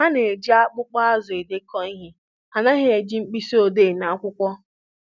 Ha na-eji akpụkpọ azụ edekọ ihe, ha anaghị eji mkpịsị odee na akwụkwọ